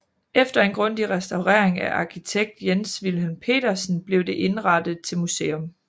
Efter en grundig restaurering af arkitekt Jens Vilhelm Petersen blev det indrettet til museum